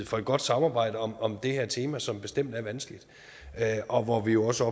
for et godt samarbejde om om det her tema som bestemt er vanskeligt og hvor vi jo også